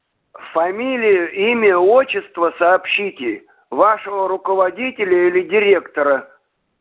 фамилию имя отчество сообщите вашего руководителя или директора